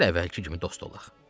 Gəl əvvəlki kimi dost olaq.